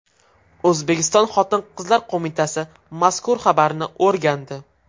O‘zbekiston Xotin-qizlar qo‘mitasi mazkur xabarni o‘rgandi .